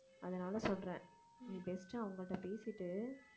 அதனால சொல்றேன் நீ best அவங்கள்ட்ட பேசிட்டு